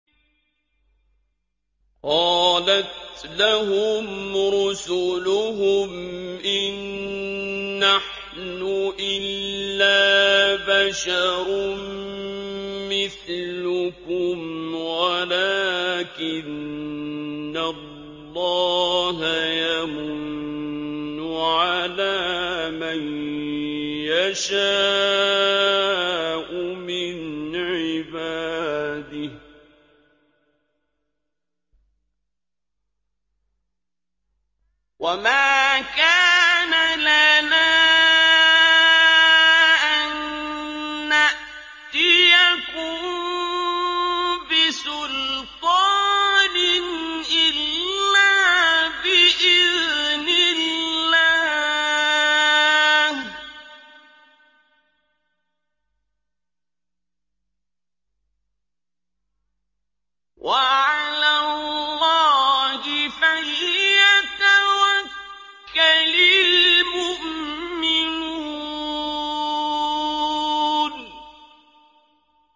قَالَتْ لَهُمْ رُسُلُهُمْ إِن نَّحْنُ إِلَّا بَشَرٌ مِّثْلُكُمْ وَلَٰكِنَّ اللَّهَ يَمُنُّ عَلَىٰ مَن يَشَاءُ مِنْ عِبَادِهِ ۖ وَمَا كَانَ لَنَا أَن نَّأْتِيَكُم بِسُلْطَانٍ إِلَّا بِإِذْنِ اللَّهِ ۚ وَعَلَى اللَّهِ فَلْيَتَوَكَّلِ الْمُؤْمِنُونَ